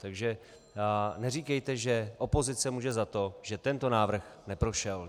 Takže neříkejte, že opozice může za to, že tento návrh neprošel.